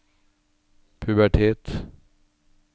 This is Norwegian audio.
pubertet